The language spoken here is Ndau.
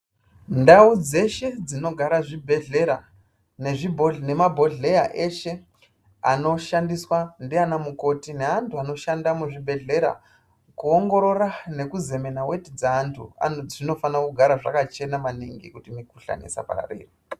Ndau dzeshe dzinogara zvibhedhleya nezvi bhohle nemabhodhleya eshe anoshandiswa ndiana mukoti neantu anoshanda muzvibhedhlera kuongorora nekuzemena weti dzeantu anzi dzinofanira kugara dzakachena maningi kuti mikhuhlani isapararira.